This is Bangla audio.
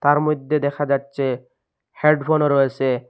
তার মইধ্যে দেখা যাচ্ছে হেডফোনও রয়েসে।